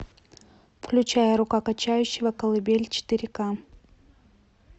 включай рука качающего колыбель четыре к